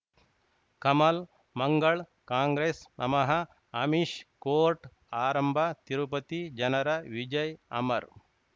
ಕಮಲ್ ಮಂಗಳ್ ಕಾಂಗ್ರೆಸ್ ನಮಃ ಅಮಿಷ್ ಕೋರ್ಟ್ ಆರಂಭ ತಿರುಪತಿ ಜನರ ವಿಜಯ್ ಅಮರ್